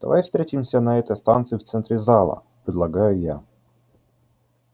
давай встретимся на этой станции в центре зала предлагаю я